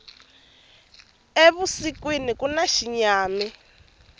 evusikwini kuna xinyami